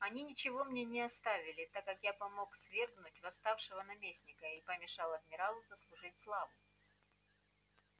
они ничего мне не оставили так как я помог свергнуть восставшего наместника и помешал адмиралу заслужить славу